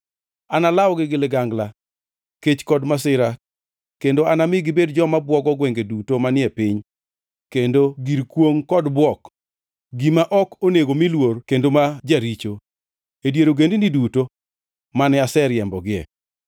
Analawgi gi ligangla, kech kod masira kendo anami gibed joma bwogo gwenge duto manie piny kendo gir kwongʼ kod bwok, gima ok onego mi luor kendo ma jaricho, e dier ogendini duto mane aseriembogie.”